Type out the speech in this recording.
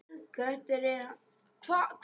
Kötu, Hannes, Emblu, Vigfús.